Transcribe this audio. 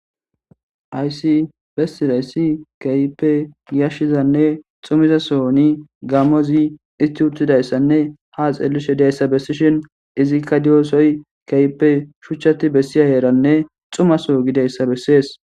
Aysi bessidayssi keype yiashshizanne xumizasohoni gammozi isti uttidayssanne ha xellishe dayssa bessishin izikka diyosoy keype shuchchati bessiya heeranne xumaso gideyssa bessees.